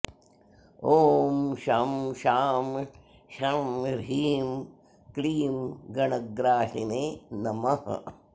ॐ शं शां षं ह्रीं क्लीं गणग्राहिने नमः